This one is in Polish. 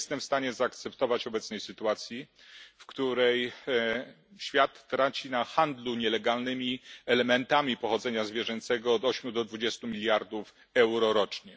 Nie jestem w stanie zaakceptować obecnej sytuacji, w której świat traci na handlu nielegalnymi elementami pochodzenia zwierzęcego od 8 do 20 mld euro rocznie.